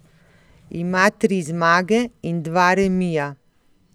Ima tri zmage in dva remija.